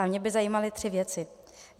A mě by zajímaly tři věci.